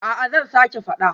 A'a zan sake fada